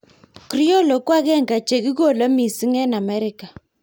Criollo ko ag'eng'e che kikole mising' eng' Amerika